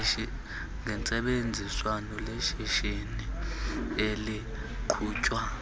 gentsebenziswano lishishini eliqhutywa